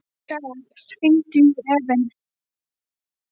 Mikkael, hringdu í Evin.